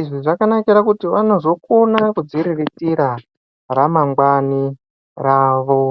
izvi zvakanakira kuti vanozokona kudziriritira ramangwani ravo.